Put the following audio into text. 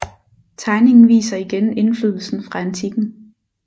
Tegningen viser igen indflydelsen fra antikken